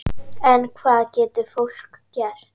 En hvað getur fólk gert?